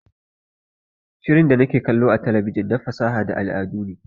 Shirin da nake kallo a talabijin na fasaha da al'adu ne